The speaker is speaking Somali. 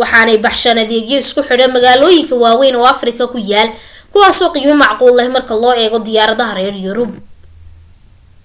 waxaanay baxshaan adeegyo isku xidha magaalooyin waawayn oo afrika ku yaal kuwaaso qiimo macquula leh marka loo eego diyaaradaha reer yurub